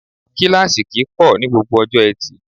Kíláàsì kì í pọ̀ ní gbogbo ọjọ́ Etì